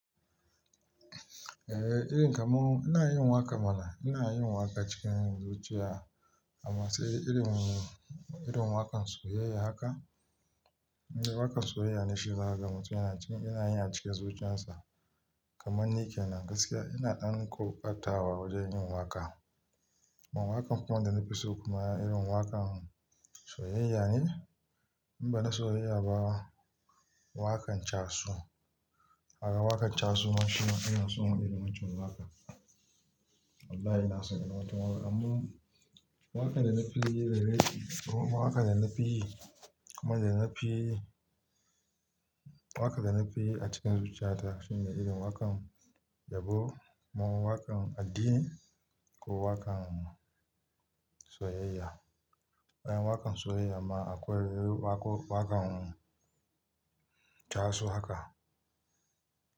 Eh, irin kamar ina yin waƙa mana, ina yin waƙa cikin zuciya amma sai irin, irin waƙan soyayya haka. Eh waƙan soyayya ne shi za a gama tun ina cikin, ina yana cikin zuciyarsa kamar nike nan gaskiya ina ɗan ƙoƙata wa wajen yin waƙa. Waƙan da na fi so kuma yana irin waƙan soyayya ne. In ba na soyayya ba, waƙan chasu. Aga waƙan chasu nashi ina so in yi wancan waƙan. Wallahi ina son yin wancan waƙan. Amma waƙan da na fi yi daidai, waƙan da na fi yi, kamar da na fi yi, waƙan da na fi yi a cikin zuciyata shine irin waƙan yabo kaman waƙan addini ko waƙan soyayya. Waƙan soyayya ma akwai wako, waƙan chasu haka.